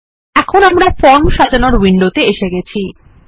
এখন আমরা ফর্ম সাজানোর উইন্ডোতে এসে গেছি